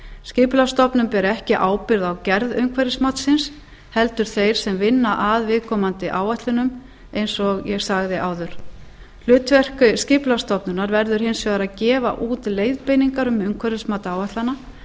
skipulagsstofnun ber ekki ábyrgð á gerð umhverfismatsins heldur þeir sem vinna að viðkomandi áætlunum eins og ég sagði áður hlutverk skipulagsstofnunar verður hins vegar að gefa út leiðbeiningar um umhverfismat áætlana